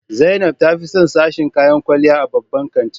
Zainab ta fi son sashen kayan kwalliya a babban kantin.